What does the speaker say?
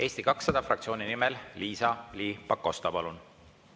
Eesti 200 fraktsiooni nimel Liisa-Ly Pakosta, palun!